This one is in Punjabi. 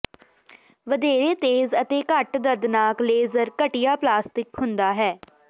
ਵਧੇਰੇ ਤੇਜ਼ ਅਤੇ ਘੱਟ ਦਰਦਨਾਕ ਲੇਜ਼ਰ ਘਟੀਆ ਪਲਾਸਟਿਕ ਹੁੰਦਾ ਹੈ